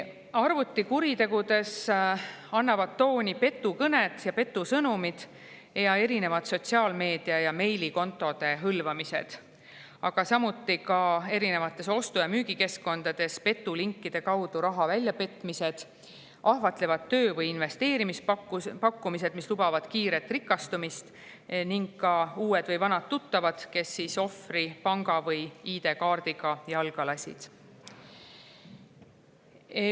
Arvutikuritegudes annavad tooni petukõned, petusõnumid ning erinevad sotsiaalmeedia- ja meilikontode hõlvamised, samuti ostu- ja müügikeskkondades petulinkide kaudu raha väljapetmised, ahvatlevad töö- või investeerimispakkumised, mis lubavad kiiret rikastumist, ning ka uued või vanad tuttavad, kes ohvri panga- või ID-kaardiga jalga lasevad.